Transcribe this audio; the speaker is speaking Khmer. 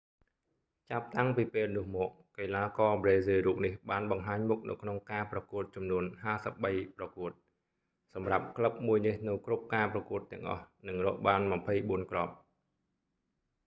ចាប់តាំងពីពេលនោះមក កីឡាករប្រេស៊ីលរូបនេះបានបង្ហាញមុខនៅក្នុងការប្រកួតចំនួន 53ប្រកួត សម្រាប់ក្លឹបមួយនេះនៅគ្រប់ការប្រកួតទាំងអស់ និងរកបាន 24 គ្រាប់